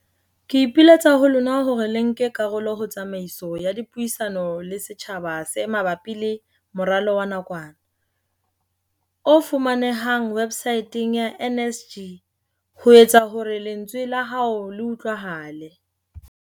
Ke ipiletsa ho lona hore le nke karolo ho tsamaiso ya dipuisano le setjhaba tse ma bapi le moralo wa nakwana, o fumanehang websaeteng ya NSG, ho etsa hore lentswe la hao le utlwahale.